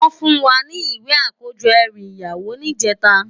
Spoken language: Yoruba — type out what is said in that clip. Wòn fún wá ni iwé àkójò èrú iyàwó nijètá